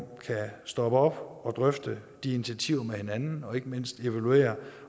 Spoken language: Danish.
kan stoppe op og drøfte de initiativer med hinanden og ikke mindst evaluere